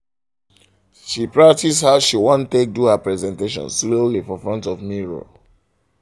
she practice how she want take take do her presentation slowly for front of mirror